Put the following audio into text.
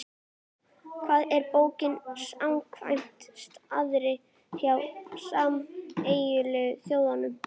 Hvað er bók samkvæmt staðli frá Sameinuðu þjóðunum?